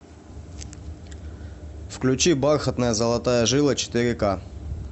включи бархатная золотая жила четыре ка